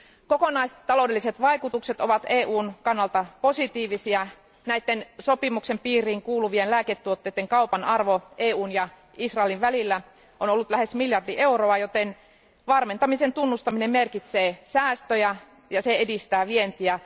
Kokonaistaloudelliset vaikutukset ovat EUn kannalta positiivisia, näitten sopimuksen piiriin kuuluvien lääketuotteiden kaupan arvo EUn ja Israelin välillä on ollut lähes miljardi euroa, joten varmentamisen tunnustaminen merkitsee säästöjä ja edistää vientiä.